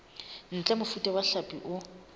ntle mofuta wa hlapi o